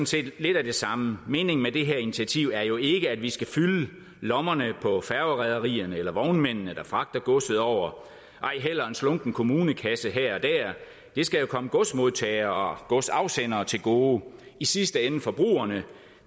set lidt af det samme meningen med det her initiativ er jo ikke at vi skal fylde lommerne på færgerederierne eller vognmændene der fragter godset over ej heller en slunken kommunekasse her og der det skal komme godsmodtagere og godsafsendere til gode i sidste ende forbrugerne